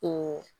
O